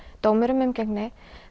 dómur um umgengni